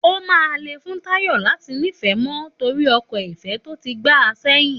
Òmá lẹ fún tàyọ́ làtí nífẹ mọ tòrí ọkọ ìfé tòtí gbà sẹyin.